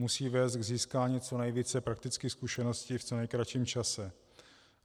Musí vést k získání co nejvíce praktických zkušeností v co nejkratším čase.